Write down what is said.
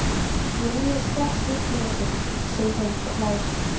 Mér líður strax miklu betur, segir hún og hlær.